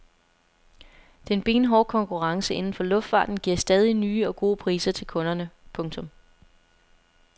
Den benhårde konkurrence inden for luftfarten giver stadig nye og gode priser til kunderne. punktum